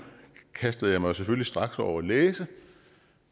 kastede jeg mig jo selvfølgelig straks over at læse